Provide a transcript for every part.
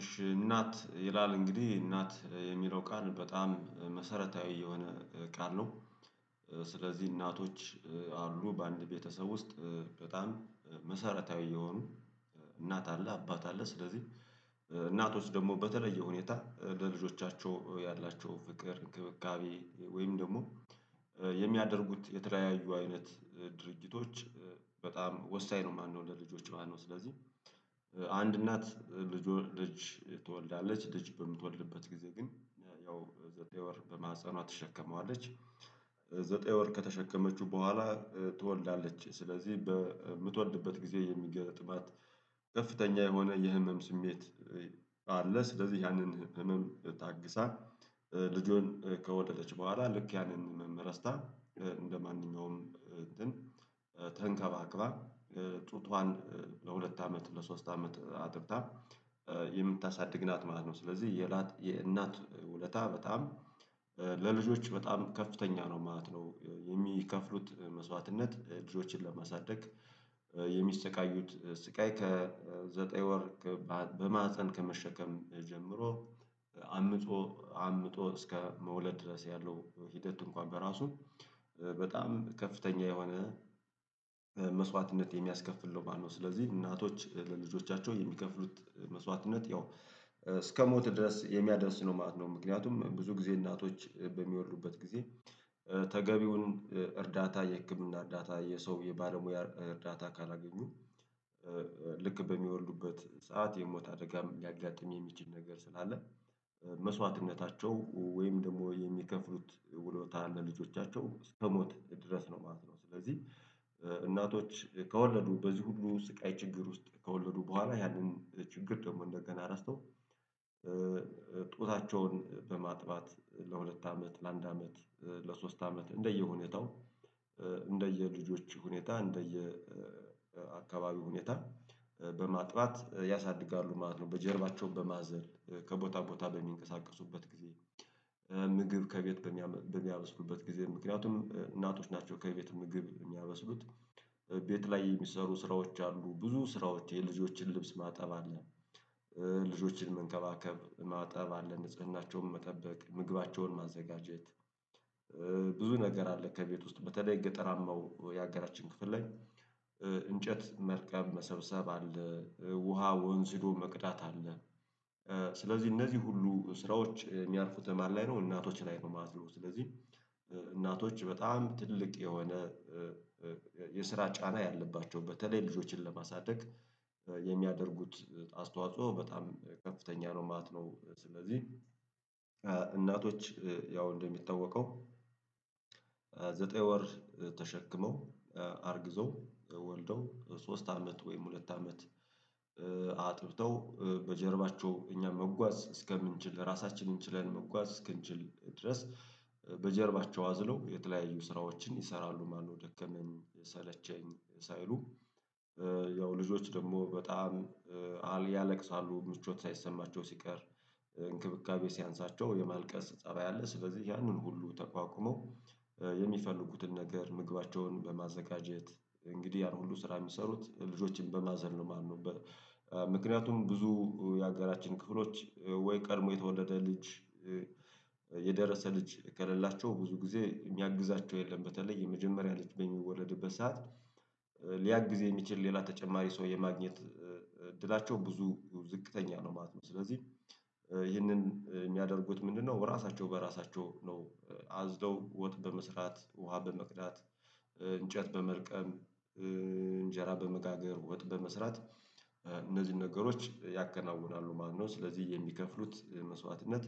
እሺ እናት ይላል እንግዲህ እናት የሚለው ቃል በጣም መሰረታዊ የሆነ ቃል ነው። ስለዚህ እናቶች አሉ በአንድ ቤተሰብ ውስጥ በጣም መሰረታዊ የሆኑ እናት አለ አባት አለ ስለዚህ እናቶች ደግሞ በተለየ ሁኔታ ለልጆቻቸው ያላቸው ፍቅር እንክብካቤ ወይም ደግሞ የሚያደርጉት የተለያዩ አይነት ድርጅቶች በጣም ወሳኝ ነው። ማነው ለልጆች ማነው? ስለዚህ አንድ እናት ልጅ ወለደች ትወልዳለች ልጅ በምትወድበት ጊዜ ግን ያው ዘጠኝ ወር በማህፀኗ ትሸከመዋለች። ዘጠኝ ወር ከተሸከመችው በኋላ ትወልዳለች ስለዚህ በምትወልድበት ጊዜ የሚገጥማት ከፍተኛ የሆነ የህመም ስሜት አለ። ስለዚህ ያንን ህመም ታግሳ ልጁን ከወለደች በኋላ ልክ ያንን ህመም ረስታ ልክ እንደማንኛውም ተንከባክባ ጡቷን ለሁለት አመት ለሶስት አመት አጥብታ የምታሳድግ ናት ማለት ነው። ስለዚህ የእናት ውለታ በጣም ለልጆች በጣም ከፍተኛ ነው ማለት ነው። የሚከፍሉት መስዋዕትነት ልጆችን ለማሳደግ የሚሰቃዩት ስቃይ ከዘጠኝ ወር በማህፀን ከመሸከም ጀምሮ አምጦ አምጦ እስከ መውለድ ድረስ ያለው ሂደት እንኳን በራሱ በጣም ከፍተኛ የሆነ መስዋዕትነት የሚያስከፍል ነው ማለት ነው። ስለዚህ እናቶች ለልጆቻቸው የሚከፍሉት መስዋዕትነት ያው እስከ ሞት ድረስ የሚያደርስ ነው ማለት ነው። ምክንያቱም ብዙ ጊዜ እናቶች በሚወልዱበት ጊዜ ተገቢውን እርዳታ የህክምና እርዳታ የሰው የባለሙያ እርዳታ ካላገኙ። በሚወልዱበት ሰዓት የሞት አደጋ ሊያጋጥም የሚችል ነገር ስላለ መስዋዕትነታቸው ወይም ደግሞ የሚከፍሉት ውሮታ ለልጆቻቸው እስከ ሞት ድረስ ነው ማለት ነው። ስለዚህ እናቶች ከወለዱ በዚህ ሁሉ ስቃይ ችግር ውስጥ ከወለዱ በኋላ ያንን ችግር ደግሞ እንደገና ረስተው ጡታቸውን በማጥባት ለሁለት አመት ለአንድ አመት ለሶስት አመት እንደየሁኔታው እንደየልጆች ሁኔታ እንደየአካባቢው ሁኔታ በማጥባት ያሳድጋሉ ማለት ነው። በጀርባቸውም በማዘል ከቦታ ቦታ በሚንቀሳቀሱበት ጊዜ ምግብ ከቤት በሚያበስሉበት ጊዜ ምክንያቱም እናቶች ናቸው ከቤት ምግብ የሚያበስሉት። ቤት ላይ የሚሰሩ ስራዎች አሉ ብዙ ስራዎች የልጆችን ልብስ ማጠብ አለ። ልጆችን መንከባከብ ማጠብ አለ ንጽህናቸውን መጠበቅ ምግባቸውን ማዘጋጀት። ብዙ ነገር አለ። ከቤት ውስጥ በተለይ ገጠራማው ያገራችን ክፍል ላይ። እንጨት መልቀም መሰብሰብ አለ ውሃ ወንዝ ህዶ መቅዳት አለ። ስለዚህ እነዚህ ሁሉ ስራዎች የሚያርፉት ማን ላይ ነው እናቶች ላይ ነው ማለት ነው። ስለዚህ እናቶች በጣም ትልቅ የሆነ የስራ ጫና ያለባቸው በተለይ ልጆችን ለማሳደግ የሚያደርጉት አስተዋጽኦ በጣም ከፍተኛ ነው ማለት ነው። ስለዚህ እናቶች ያው እንደሚታወቀው ዘጠኝ ወር ተሸክመው አርግዘው ወልደው ሶስት አመት ወይም ሁለት አመት አጥብተው በጀርባቸው እኛ መጓዝ እስከምንችል ራሳችንን ችለን መጓዝ እስክንችል ድረስ በጀርባቸው አዝለው የተለያዩ ስራዎችን ይሰራሉ ማለት ነው። ደከመኝ ሰለቸኝ ሳይሉ ያው ልጆች ደግሞ በጣም ያለቅሳሉ ምቾት ሳይሰማቸው ሲቀር እንክብካቤ ሲያንሳቸው የማልቀስ ፀባይ አለ። ስለዚህ ያንን ሁሉ ተቋቁሞ የሚፈልጉትን ነገር ምግባቸውን በማዘጋጀት እንግዲህ ያን ሁሉ ስራ የሚሰሩት ልጆችን በማዘል ነው። ማነው ምክንያቱም ብዙ የሀገራችን ክፍሎች ወይ ቀድሞ የተወለደ ልጅ የደረሰ ልጅ ከሌላቸው ብዙ ጊዜ የሚያግዛቸው የለም። በተለይ የመጀመሪያ ልጅ በሚወለድበት ሰዓት ሊያግዝ የሚችል ሌላ ተጨማሪ ሰው የማግኘት እድላቸው ብዙ ዝቅተኛ ነው ማለት ነው። ስለዚህ ይህንን የሚያደርጉት ምንድነው? ራሳቸው በራሳቸው ነው። አዝለው ወጥ በመስራት ውሃ በመቅዳት እንጨት በመልቀም እንጀራ በመጋገር ወጥ በመስራት እነዚህን ነገሮች ያከናውናሉ። ማነው? ስለዚህ የሚከፍሉት መስዋዕትነት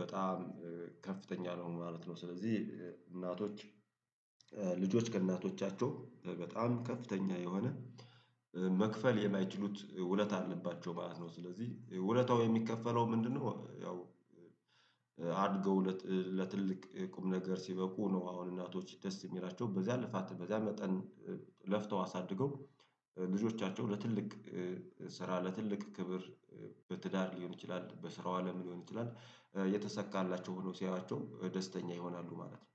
በጣም ከፍተኛ ነው ማለት ነው። ስለዚህ እናቶች ልጆች ከእናቶቻቸው በጣም ከፍተኛ የሆነ መክፈል የማይችሉት ውለታ አለባቸው ማለት ነው። ስለዚህ ውለታው የሚከፈለው ምንድነው? ያው አድገው ለትልቅ ቁም ነገር ሲበቁ ነው። አሁን እናቶች ደስ የሚላቸው በዚያ ልፋት በዚያ መጠን ለፍተው አሳድገው ልጆቻቸው ለትልቅ ስራ ለትልቅ ክብር በትዳር ሊሆን ይችላል በስራው አለም ሊሆን ይችላል የተሰካላቸው ሆነው ሲያዩዋቸው ደስተኛ ይሆናሉ ማለት ነው